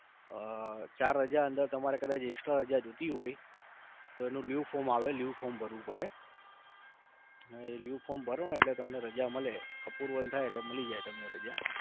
ઉહ ચાર રજા અંદર તમારે કદાચ Extra રજા જોતી હોય તો એનું Leave form આવે Leave form ભરવું પડે. એ leave form ભરોને એટલે તમને રજા મળે. એક approval થાય એટલે મળી જાય તમને રજા